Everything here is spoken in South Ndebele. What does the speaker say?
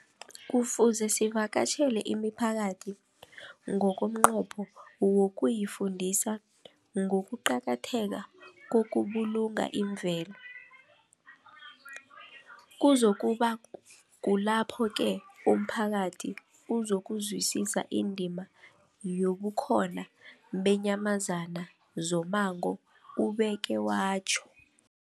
Kufuze sivakatjhele imiphakathi ngomnqopho wokuyifundisa ngokuqakatheka kokubulunga imvelo. Kuzoku ba kulapho-ke umphakathi uzokuzwisisa indima yobukhona beenyamazana zommango, ubeke watjho.